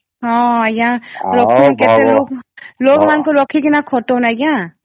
ହଁ ୟା କେତେ ଲୋଗ ମନକୁ ରଖିକି ଖଟାଉନ ଆଂଜ୍ଞା